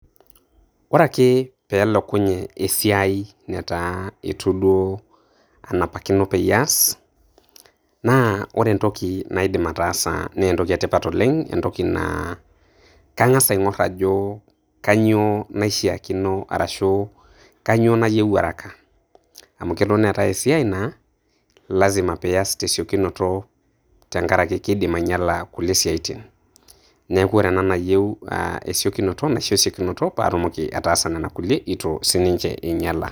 Ore akee pee elokunye esiai netaa eitu duo anapakino peyie aas, naa kore entoki naidim ataasa naa entoki e tipat oleng', entoki naa, kang'as aing'or ajo kainyoo naishaakino arashu kainyoo naiyeu haraka. Amu kelo neetai esia naa lazima pias te siokinoto tenkara ake keidim ainyala kulie siaitin. Neaku kore embae nayieu esiokinoto naisho esiokinoto paa atumoki ataasa nena kulie eitu siininye einyala.